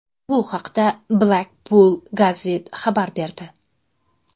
Bu haqda Blackpool Gazette xabar berdi.